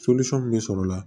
min sɔrɔla